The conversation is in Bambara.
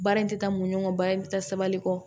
Baara in tɛ taa mun kɔ baara in bɛ taa sabali kɔ